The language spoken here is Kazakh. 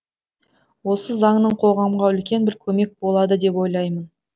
осы заңның қоғамға үлкен бір көмек болады деп ойлаймын